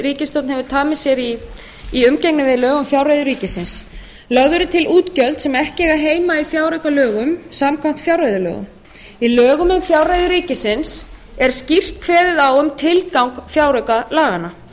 hefur tamið sér í umgengni við lög um fjárreiður ríkisins lögð eru til útgjöld sem ekki eiga heima í fjáraukalögum samkvæmt fjárreiðulögum í lögum um fjárreiður ríkisins er skýrt kveðið á um tilgang fjáraukalaga þar